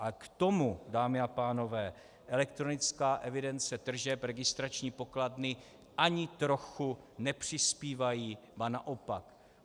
A k tomu, dámy a pánové, elektronická evidence tržeb, registrační pokladny ani trochu nepřispívají, ba naopak.